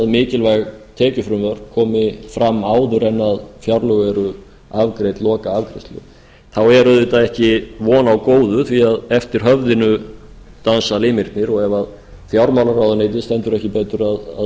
mikilvæg tekjufrumvörp komi fram áður en fjárlög eru afgreidd lokaafgreiðslu þá er auðvitað ekki von á góðu því að eftir höfðinu dansa limirnir og ef fjármálaráðuneytið stendur ekki betur að